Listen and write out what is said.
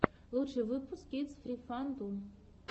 лучший выпуск кидс фри ван ту